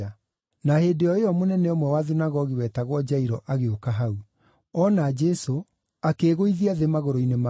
Na hĩndĩ o ĩyo mũnene ũmwe wa thunagogi wetagwo Jairũ agĩũka hau. Oona Jesũ, akĩĩgũithia thĩ magũrũ-inĩ make